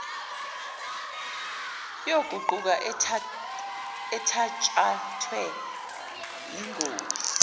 yoguquko ethatshathwe yingosi